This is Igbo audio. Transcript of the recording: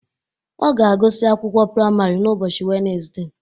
Ọ ga-agụsị akwụkwọ praịmarị n' ụbọchị Wednesde